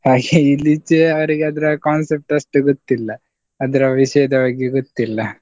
ಇಲ್ಲೀಚೆ ಅವ್ರಿಗೆ ಆದ್ರೆ ಆ concept ಅಷ್ಟು ಗೊತ್ತಿಲ್ಲ, ಅದ್ರ ವಿಷ್ಯದ ಬಗ್ಗೆ ಗೊತ್ತಿಲ್ಲ.